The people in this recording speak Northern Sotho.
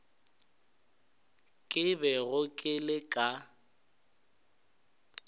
ke bego ke le ka